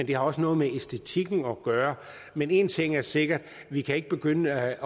det har også noget med æstetikken at gøre men en ting er sikker vi kan ikke begynde at